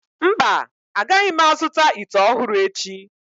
Mba, agaghị m azụta ite ọhụrụ echi.